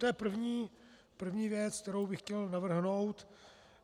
To je první věc, kterou bych chtěl navrhnout.